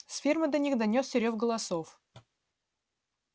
с фермы до них донёсся рёв голосов